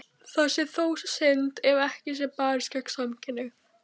Það sé þó synd ef ekki sé barist gegn samkynhneigð.